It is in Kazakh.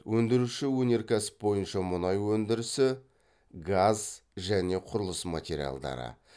өндіруші өнеркәсіп бойынша мұнай өндірісі газ және құрылыс материалдары